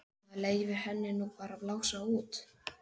Maður leyfir henni nú bara að blása út.